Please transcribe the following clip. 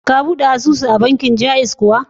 Ka buɗe asusu a bankin Ja'iz kuwa?